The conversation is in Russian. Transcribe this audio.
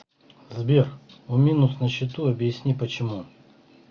сбер у минус на счету объясни почему